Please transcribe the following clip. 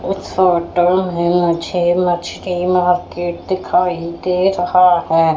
इस फोटो में मुझे मछली मार्केट दिखाई दे रहा है।